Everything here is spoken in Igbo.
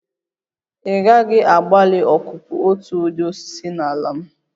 Ị gaghị agbalị ọkụkụ otu ụdị osisi na ala m!